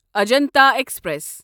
Ajanta express